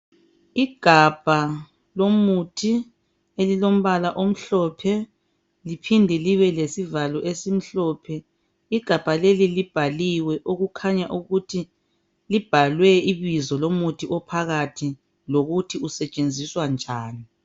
Igabha lomuthi elilombala omhlophe liphinde libe lesivalo esimhlophe, libhalwe igama lomuthi phakathi liphinde libhalwe ukut usetshenziswa njani.